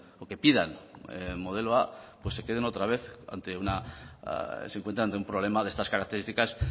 o que pidan el modelo a pues se queden otra vez ante un problema de estas características